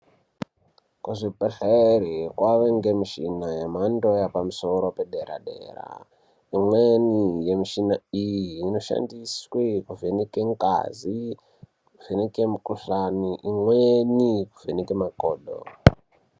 Kuzvibhedhlera kwava nemichina yemhando yepamusoro yepadera dera imweni yemichina iyi inoshandiswa kuvhenaka ngazi kuvheneka mukuhlani imweni kuvhenaka makodo.